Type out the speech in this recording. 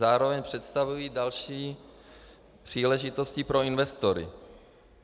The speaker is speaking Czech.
Zároveň představují další příležitosti pro investory.